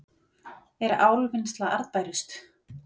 Er álvinnsla arðbærust